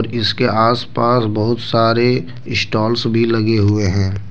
और इसके आस पास बहुत सारे स्टॉल्स भी लगे हुए हैं।